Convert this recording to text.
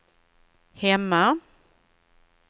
hemma